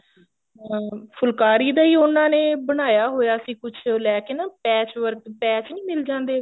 ਅਹ ਫੁਲਕਾਰੀ ਦਾ ਈ ਉਹਨਾ ਨੇ ਬਣਾਇਆ ਹੋਇਆ ਸੀ ਕੁੱਛ ਲੈ ਕੇ ਨਾ patch work patch ਨੀ ਮਿਲ ਜਾਂਦੇ